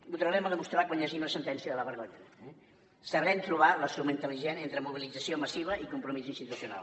ho tornarem a demostrar quan hi hagi la sentència de la vergonya eh sabrem trobar la suma intel·ligent entre mobilització massiva i compromís institucional